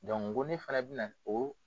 koɔni fana bɛna na o.